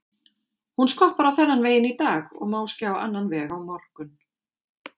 Hún skoppar á þennan veginn í dag og máski á annan veg á morgun.